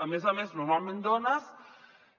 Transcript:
a més a més normalment dones